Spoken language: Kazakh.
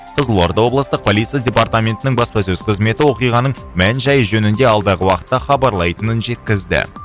қызылорда облыстық полиция департаментінің баспасөз қызметі оқиғаның мән жайы жөнінде алдағы уақытта хабарлайтынын жеткізді